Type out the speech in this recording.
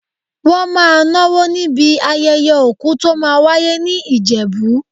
Wọ́n máa náwó níbi ayẹyẹ òkú tó máa wáyé ní Ìjẹ̀bú.